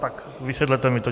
Tak vysvětlete mi to.